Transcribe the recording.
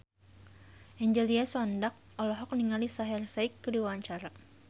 Angelina Sondakh olohok ningali Shaheer Sheikh keur diwawancara